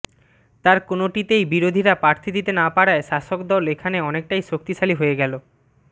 তার কোনটিতেই বিরোধীরা প্রার্থী দিতে না পারায় শাসকদল এখানে অনেকটাই শক্তিশালী হয়ে গেল